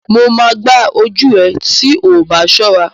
Mo máa gbá ojú ẹ tí oọbá ṣọ́ra.